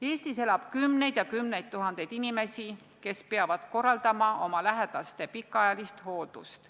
Eestis elab kümneid tuhandeid inimesi, kes peavad korraldama oma lähedaste pikaajalist hooldust.